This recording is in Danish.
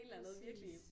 Præcis